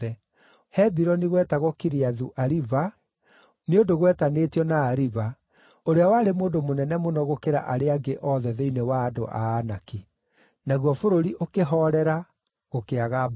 (Hebironi gwetagwo Kiriathu-Ariba nĩ ũndũ gwetanĩtio na Ariba, ũrĩa warĩ mũndũ mũnene mũno gũkĩra arĩa angĩ othe thĩinĩ wa andũ a Anaki). Naguo bũrũri ũkĩhoorera, gũkĩaga mbaara.